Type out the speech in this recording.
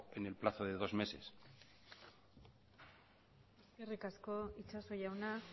en el plazo de dos meses eskerrik asko itxaso jauna